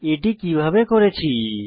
এটি কিভাবে করেছি